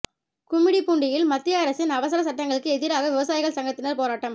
கும்மிடிப்பூண்டியில் மத்திய அரசின் அவசர சட்டங்களுக்கு எதிராக விவசாயிகள் சங்கத்தினர் போராட்டம்